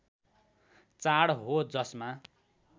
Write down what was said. चाड हो जसमा